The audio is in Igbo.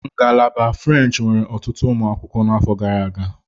Ngalaba French nwere ọtụtụ ụmụ akwụkwọ n'afọ gara aga.